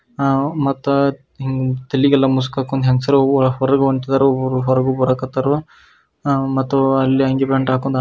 ಅಹ್ ಮತ್ತ ತಲಿಗೆಲ್ಲ ಮುಸ್ಕ್ ಹಾಕೊಂದ್ ಹೆಂಗ್ಸುರು ಹೊರಗ್ ಹೊಂಟೀದಾರೋ ಊರ್ ಹೊರಗೂ ಬರಾಕತ್ತರೋ ಮತ್ತು ಅಲ್ಲಿ ಅಂಗಿ ಪ್ಯಾಂಟ್ ಹಾಕೊಂದ್